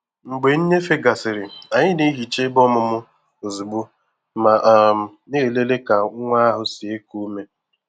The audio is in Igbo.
Mgbe nnyefe gasịrị, anyị na-ehicha ebe ọmụmụ ozugbo ma um na-elele ka nwa ahụ si eku ume.